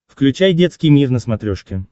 включай детский мир на смотрешке